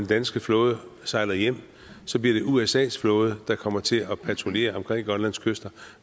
danske flåde sejler hjem så bliver det usas flåde der kommer til at patruljere omkring grønlands kyster